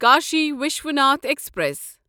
Kashi Vishwanath express